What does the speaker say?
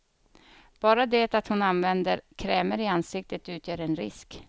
Bara det att hon använder krämer i ansiktet utgör en risk.